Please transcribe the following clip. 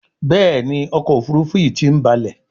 Béèni ọkọ̀ òfurufú yi tí ń balè.